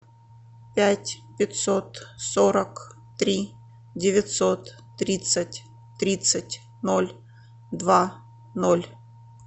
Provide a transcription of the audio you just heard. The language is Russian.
пять пятьсот сорок три девятьсот тридцать тридцать ноль два ноль